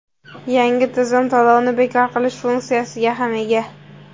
Yangi tizim to‘lovni bekor qilish funksiyasiga ham ega.